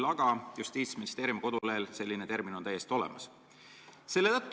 Aga Justiitsministeeriumi kodulehel on see termin täiesti olemas.